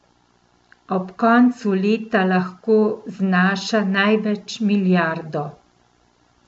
Ob koncu leta lahko znaša največ milijardo.